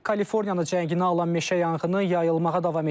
Kaliforniyada cənginə alan meşə yanğını yayılmağa davam edir.